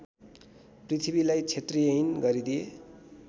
पृथ्वीलाई क्षत्रियहीन गरिदिए